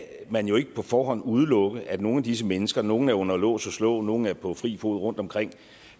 man jo ikke på forhånd udelukke at nogle af disse mennesker nogle er under lås og slå nogle er på fri fod rundtomkring